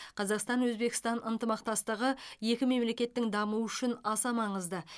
қазақстан өзбекстан ынтымақтастығы екі мемлекеттің дамуы үшін аса маңызды